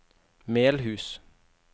Melhus